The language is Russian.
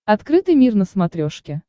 открытый мир на смотрешке